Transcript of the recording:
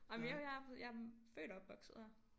Ej men jo jeg er jeg er født og opvokset her